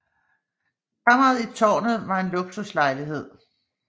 Kammeret i tårnet var en luksuslejlighed